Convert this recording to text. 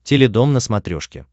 теледом на смотрешке